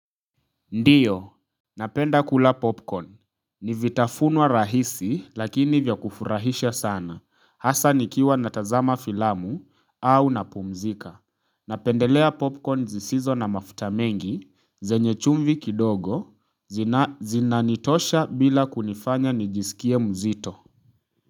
Ndiyo. Napenda kula popcorn. Ni vitafunwa rahisi lakini vya kufurahisha sana. Hasa nikiwa natazama filamu au napumzika. Napendelea popcorn zisizo na mafuta mengi. Zenye chumvi kidogo. Zinanitosha bila kunifanya nijisikie mzito.